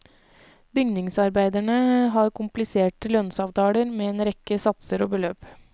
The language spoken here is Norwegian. Bygningsarbeiderne har kompliserte lønnsavtaler med en rekke satser og beløp.